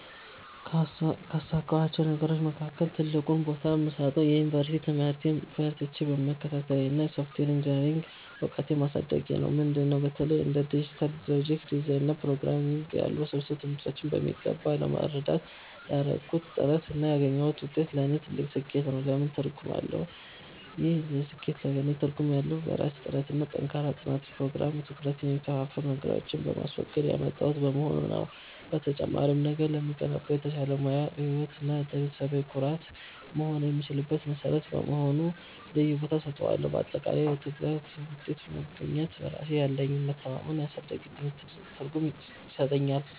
ካሳካኋቸው ነገሮች መካከል ትልቁን ቦታ የምሰጠው የዩኒቨርሲቲ ትምህርቴን በርትቼ መከታተሌንና የሶፍትዌር ኢንጂኔሪንግ እውቀቴን ማሳደጌን ነው። ምንድን ነው? በተለይ እንደ ዲጂታል ሎጂክ ዲዛይን እና ፕሮግራምንግ ያሉ ውስብስብ ትምህርቶችን በሚገባ ለመረዳት ያደረግኩት ጥረት እና ያገኘሁት ውጤት ለእኔ ትልቅ ስኬት ነው። ለምን ትርጉም አለው? ይህ ስኬት ለእኔ ትርጉም ያለው፣ በራሴ ጥረትና በጠንካራ የጥናት ፕሮግራም (ትኩረቴን የሚከፋፍሉ ነገሮችን በማስወገድ) ያመጣሁት በመሆኑ ነው። በተጨማሪም፣ ነገ ለምገነባው የተሻለ የሙያ ህይወት እና ለቤተሰቤ ኩራት መሆን የምችልበት መሠረት በመሆኑ ልዩ ቦታ እሰጠዋለሁ። ባጠቃላይ፣ በትጋት ውጤት ማግኘት ለራሴ ያለኝን መተማመን ስላሳደገልኝ ትልቅ ትርጉም ይሰጠኛል።